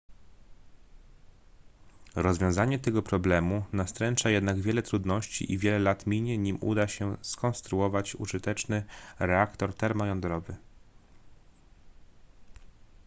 rozwiązanie tego problemu nastręcza jednak wiele trudności i wiele lat minie nim uda się skonstruować użyteczny reaktor termojądrowy